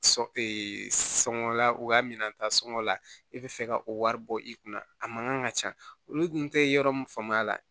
Sɔn e sɔngɔla u ka minan ta sɔngɔ la e bɛ fɛ ka o wari bɔ i kunna a man kan ka ca olu dun tɛ yɔrɔ min faamuya la